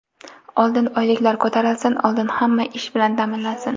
Oldin oyliklar ko‘tarilsin, oldin hamma ish bilan ta’minlansin!!!